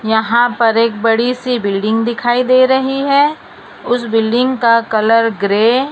यहां पर एक बड़ी सी बिल्डिंग दिखाई दे रही है उस बिल्डिंग का कलर ग्रे --